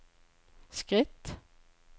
skritt